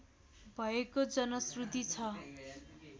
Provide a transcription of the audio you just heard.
भएको जनश्रुति छ